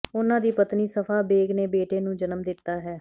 ਉਨ੍ਹਾਂ ਦੀ ਪਤਨੀ ਸਫਾ ਬੇਗ ਨੇ ਬੇਟੇ ਨੂੰ ਜਨਮ ਦਿੱਤਾ ਹੈ